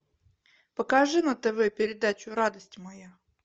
покажи на тв передачу радость моя